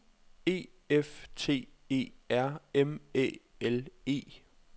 E F T E R M Æ L E